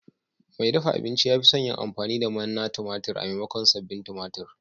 Mai dafa abinci ya fi son yin amfani da manna tumatir maimakon sabbin tumatir.